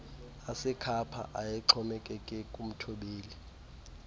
asekhapha ayexhomekeke kumthobeli